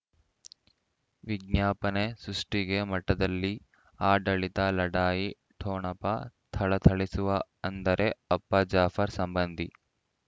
ವಿಜ್ಞಾಪನೆ ಸೃಷ್ಟಿಗೆ ಮಠದಲ್ಲಿ ಆಡಳಿತ ಲಢಾಯಿ ಠೊಣಪ ಥಳಥಳಿಸುವ ಅಂದರೆ ಅಪ್ಪ ಜಾಫರ್ ಸಂಬಂಧಿ